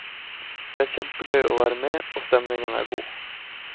Det er kjempegøy å være med og stemningen er god.